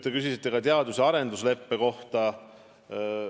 Te küsisite ka teadus- ja arendustöö leppe kohta.